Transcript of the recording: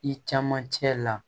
I caman cɛ la